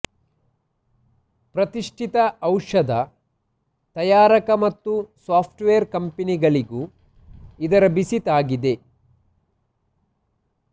ಪ್ರತಿಷ್ಠಿತ ಔಷಧ ತಯಾರಕ ಮತ್ತು ಸಾಫ್ಟವೇರ್ ಕಂಪೆನಿಗಳಿಗೂ ಇದರ ಬಿಸಿ ತಾಗಿದೆ